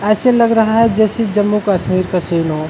ऐसे लग रहा है जसे जम्मू कश्मीर का सीन हो।